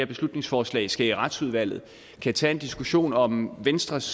beslutningsforslag skal behandles i retsudvalget kan tage en diskussion om venstres